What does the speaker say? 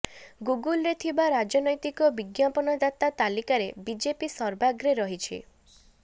ଗୁଗୁଲ୍େର ଥିବା ରାଜନ୘ତିକ ବିଜ୍ଞାପନଦାତା ତାଲିକାରେ ବିଜେପି ସର୍ବାଗ୍ରେ ରହିଛି